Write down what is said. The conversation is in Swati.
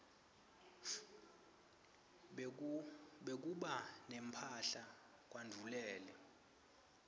bekuba nemphahla kwandvulele